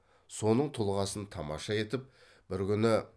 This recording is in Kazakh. соның тұлғасын тамаша етіп бір күні